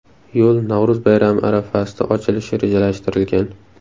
Yo‘l Navro‘z bayrami arafasida ochilishi rejalashtirilgan.